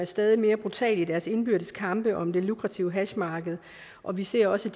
stadig mere brutale i deres indbyrdes kampe om det lukrative hashmarked og vi ser også